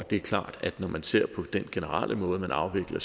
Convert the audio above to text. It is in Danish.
det er klart at når man ser på den generelle måde man afvikler